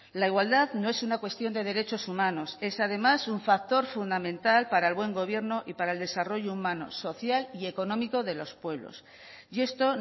la igualdad no es una cuestión de derechos humanos es además un factor fundamental para el buen gobierno y para el desarrollo humano social y económico de los pueblos y esto